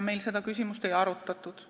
Meil seda küsimust ei arutatud.